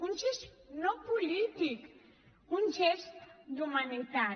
un gest no polític un gest d’humanitat